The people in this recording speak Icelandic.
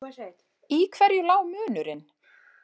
Í hverju lá munurinn?